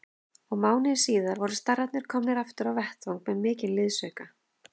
Og mánuði síðar voru starrarnir komnir aftur á vettvang með mikinn liðsauka.